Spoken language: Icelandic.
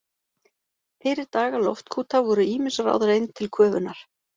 Fyrir daga loftkúta voru ýmis ráð reynd til köfunar.